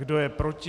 Kdo je proti?